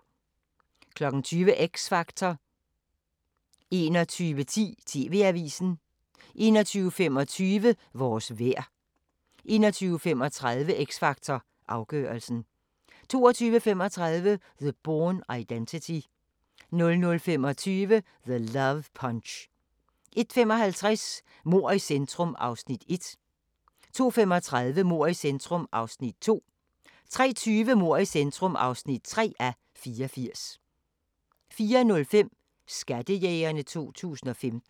20:00: X Factor 21:10: TV-avisen 21:25: Vores vejr 21:35: X Factor Afgørelsen 22:35: The Bourne Identity 00:25: The Love Punch 01:55: Mord i centrum (1:84) 02:35: Mord i centrum (2:84) 03:20: Mord i centrum (3:84) 04:05: Skattejægerne 2015